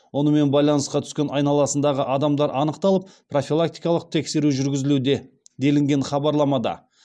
онымен байланысқа түскен айналасындағы адамдар анықталып профилактикалық тексеру жүргізілуде делінген хабарламада